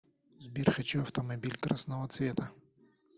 сбер хочу автомобиль красного цвета